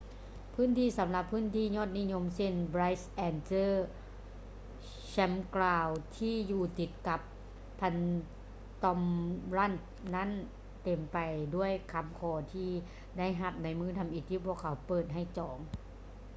ພື້ນທີ່ສໍາລັບພຶ້ນທີ່ຍອດນິຍົມເຊັ່ນ bright angel campground ທີ່ຢູ່ຕິດກັບ phantom ranch ນັ້ນເຕັມໄປດ້ວຍຄໍາຂໍທີ່ໄດ້ຮັບໃນມື້ທໍາອິດທີ່ພວກເຂົາເປີດໃຫ້ຈອງ